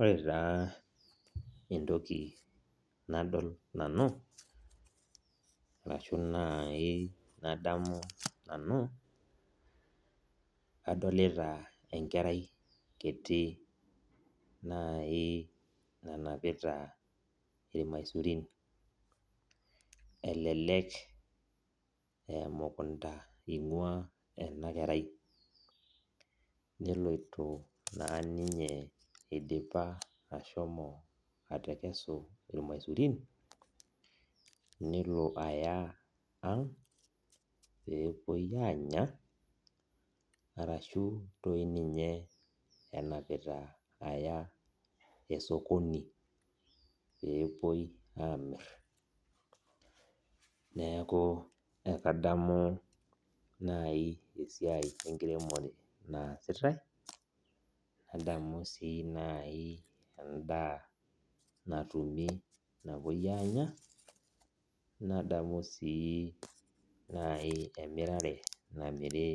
Ore taa entoki nadol nanu, arashu nai nadamu nanu, adolita enkerai kiti nai nanapita irmaisurin. Elelek emukunda ing'ua enakerai, neloito naa ninye idipa ashomo atekesu irmaisurin, nelo aya ang', pepuoi anya, arashua toi ninye enapita aya esokoni, pepuoi amir. Neeku ekadamu nai esiai enkiremore naasitai, nadamu si nai endaa natumi napuoi anya, nadamu si nai emirare namiri